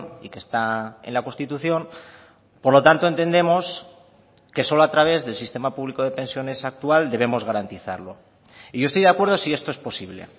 y que está en la constitución por lo tanto entendemos que solo a través del sistema público de pensiones actual debemos garantizarlo y yo estoy de acuerdo si esto es posible